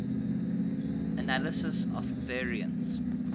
analysis of variance